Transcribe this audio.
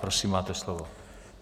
Prosím, máte slovo.